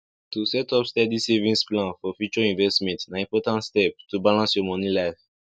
to set up steady savings plan for future investment na important step to balance your money life